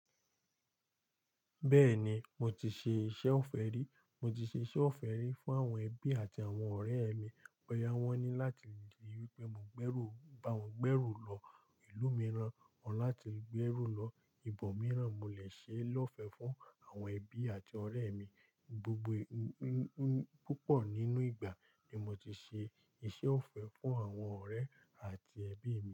Bẹ́ẹ̀ni, mo ti ṣe iṣẹ́ ọ̀fẹ́ rí. Mo ti ṣe iṣẹ́ ọ̀fẹ́ rí fún àwọn ẹbí àti àwọn ọ̀rẹ́ mi. Boyá wọn ni láti ri wípé mo gbẹ́rù, bá wọn gbẹ́rù lọ ìlú mìíràn, wọ́n láti gbé ẹrù lọ ibòmíràn. Mo lè ṣe lọ́fẹ́ fún àwọn ẹbí àti ọ̀rẹ́ mi. Gbogbo, púpọ̀ nínú ìgbà ni mo ti ṣe iṣẹ́ ọ̀fẹ́ fún àwọn ọ̀rẹ́ àti ẹbí mi.